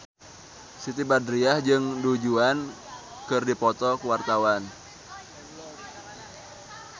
Siti Badriah jeung Du Juan keur dipoto ku wartawan